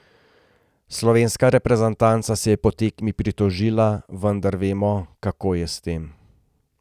Slovenska reprezentanca se je po tekmi pritožila, vendar vemo, kako je s tem.